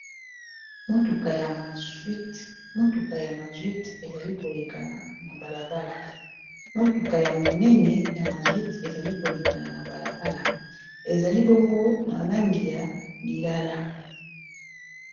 Mutuka ya monene ya mazwite ezali kolekana na balabala ezali bongo na langi ya lilala